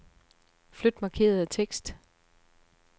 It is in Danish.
Flyt markerede tekst.